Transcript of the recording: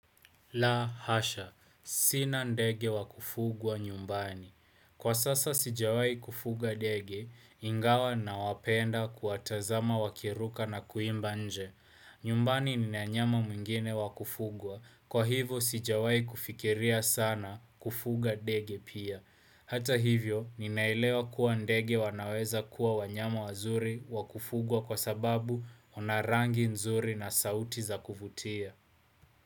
La hasha, sina ndege wakufugwa nyumbani. Kwa sasa sijawai kufuga ndege, ingawa na wapenda kuwa tazama wakiruka na kuimba inje. Nyumbani nina mnyama mwingine wakufugwa, kwa hivyo sijawai kufikiria sana kufuga dege pia. Hata hivyo, ninailewa kuwa ndege wanaweza kuwa wanyama wazuri wakufugwa kwa sababu wanarangi nzuri na sauti za kuvutia.